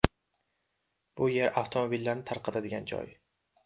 Bu yer avtomobillarni tarqatadigan joy.